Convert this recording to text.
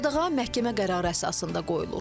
Qadağan məhkəmə qərarı əsasında qoyulur.